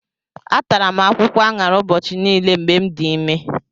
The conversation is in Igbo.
Atara m akwụkwọ aṅara ụbọchị niile mgbe m dị ime.